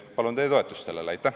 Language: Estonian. Palun teie toetust sellele!